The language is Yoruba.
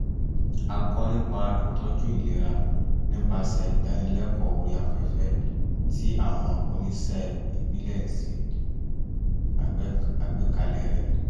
ó kọ́ nípa ìtọ́jú ìlera nípasẹ̀ ìdánilẹ́kọ̀ọ́ orí afẹ́fẹ́ tí àwọn oníṣẹ́ ìbílẹ̀ ṣe àgbékalẹ̀ rẹ̀